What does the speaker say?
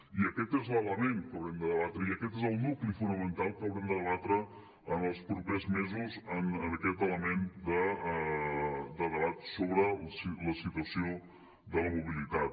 i aquest és l’element que haurem de debatre i aquest és el nucli fonamental que haurem de debatre en els propers mesos aquest element de debat sobre la situació de la mobilitat